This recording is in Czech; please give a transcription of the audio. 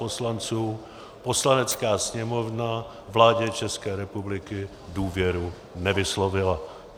Poslanecká sněmovna vládě České republiky důvěru nevyslovila.